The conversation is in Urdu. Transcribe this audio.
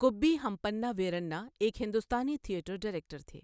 گُبّی ہمپنّا ویرنّا ایک ہندوستانی تھیٹر ڈائریکٹر تھے۔